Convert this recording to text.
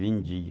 Vendia.